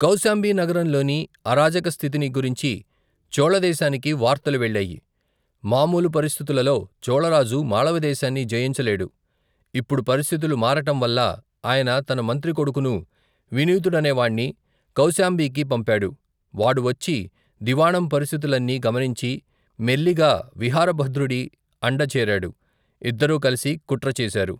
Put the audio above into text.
కౌశాంబీనగరంలోని అరాజకస్థితిని గురించి చోళదేశానికి వార్తలు వెళ్ళాయి మామూలు పరిస్థితులలో, చోళరాజు మాళవ దేశాన్ని జయించలేడు ఇప్పుడు పరిస్థితులు మారటం వల్ల ఆయన తన మంత్రికొడుకును వినీతుడనేవాణ్ణి కౌశాంబీకి పంపాడు వాడు వచ్చి దివాణం పరిస్థితులన్నీ గమనించి మెల్లిగా విహారభద్రుడి అండచేరాడు ఇద్దరూ కలిసి కుట్రచేశారు.